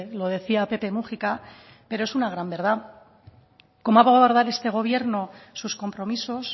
lo decía pepe múgica pero es una gran verdad cómo va a abordar este gobierno sus compromisos